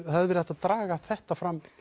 hafi verið hægt að draga þetta fram